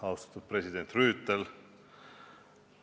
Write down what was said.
Austatud president Rüütel!